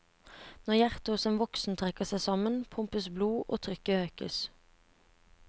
Når hjertet hos en voksen trekker seg sammen, pumpes blod og trykket øker.